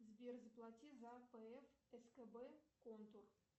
сбер заплати за пф скб контур